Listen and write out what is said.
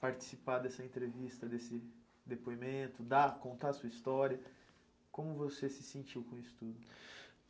Participar dessa entrevista, desse depoimento, dar contar a sua história, como você se sentiu com isso tudo?